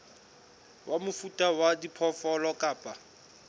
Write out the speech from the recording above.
wa mofuta wa diphoofolo kapa